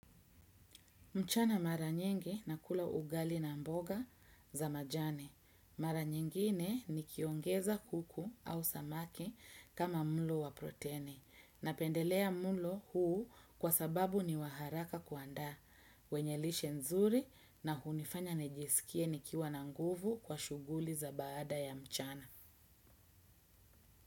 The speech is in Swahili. Mchana mara nyingi nakula ugali na mboga za majani. Mara nyingine nikiongeza kuku au samaki kama mlo wa proteni. Napendelea mlo huu kwa sababu ni wa haraka kuandaa. Wenye lishe nzuri na hunifanya nijisikie nikiwa na nguvu kwa shughuli za baada ya mchana.